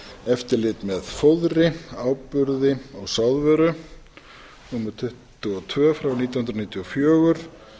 eftirlit með fóðri áburði og sáðvöru númer tuttugu og tvö nítján hundruð níutíu og fjögur